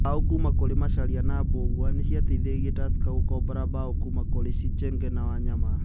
Mbao kũma kũri Macharia na Mbugua, nĩ ciateithirie Tusker gũkombora mbao kũma kũrĩ Sichenje na Wanyama